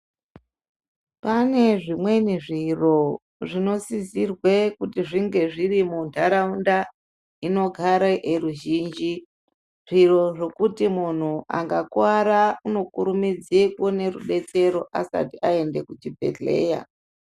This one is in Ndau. Pane zvimweni zviro, zvinosisirwe kuti zvinge zviri muntaraunda, inogare eruzhinji. Zviro zvekuti muntu akakuwara unokurumidze kuone rubetsero asati aende kuchibhedhleya.